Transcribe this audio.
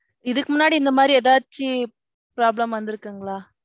இதுக்கு முன்னாடி இந்த மாதிரி எதாச்சி problem வந்திருக்குங்களா?